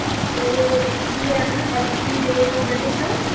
ਤੇ ਇਹ ਬ੍ਰਿਟਿਸ਼